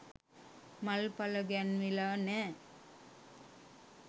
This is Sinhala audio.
මල්ඵල ගැන්විලා නෑ.